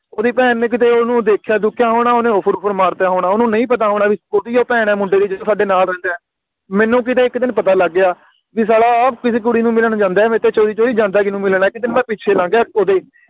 ਓਹਦੀ ਭੈਣ ਨੇ ਇਕ ਤਾ ਓਹਨੂੰ ਦੇਖਿਆ ਦੁਖਯਾ ਹੋਣਾ ਓਹਨੇ Offer Uffer ਮਾਰ ਤਾ ਹੋਣਾ ਓਹਨੂੰ ਨਹੀਂ ਪਤਾ ਹੋਣਾ ਵੀ ਓਹਦਿਓ ਭੈਣ ਆ ਮੁੰਡੇ ਦੀ ਜੀਨੋ ਸਾਡੇ ਨਾਲ ਰਹਿੰਦਾ ਏ ਮੈਨੂੰ ਕੀਤੇ ਇਕ ਦਿਨ ਪਤਾ ਲੱਗ ਗਿਆ ਵੀ ਸਾਲਾ ਆ ਕਿਸੇ ਕੁੜੀ ਨੂੰ ਮਿਲਣ ਜਾਂਦਾ ਮੇਰੇ ਤੋਂ ਚੋਰੀ ਚੋਰੀ ਜਾਂਦਾ ਕਿਸੇ ਨੂੰ ਮਿਲਣ ਤੇ ਮੈਂ ਪਿੱਛੇ ਲੱਗ ਗਿਆ ਓਹਦੇ